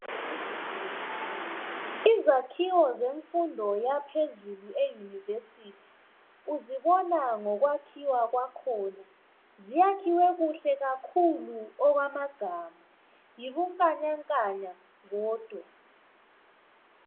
Izakhiwo zemfundo yaphezulu eUniversity . Uzibona ngokwakhiwa kwakhona. Zakhiwe kuhle kakhulu okwamagama. Yibunkanyankanya bodwa.